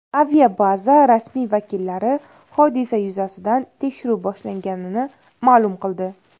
Aviabaza rasmiy vakillari hodisa yuzasidan tekshiruv boshlanganini ma’lum qildi.